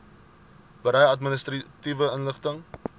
berei administratiewe inligting